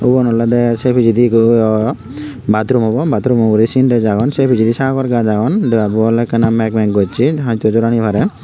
ubon oledey sei pijedi ekku bathroom obo bathroom o uguri sintex agon se pijedi sagor gaaj agon debabu oley ekka meg meg gocchey hoitow jor ani parey.